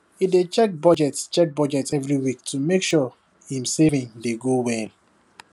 he dey check budget check budget every week to make sure him saving dey go well